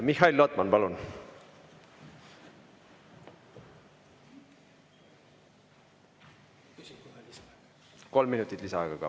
Mihhail Lotman, palun!